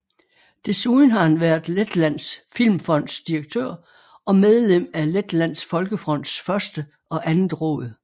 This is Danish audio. Desuden var han været Letlands Filmfonds direktør og medlem af Letlands Folkefronts første og andet råd